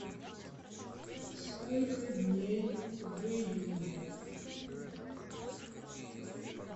сколько дней в июле